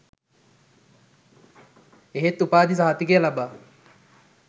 එහෙත් උපාධි සහතිකය ලබා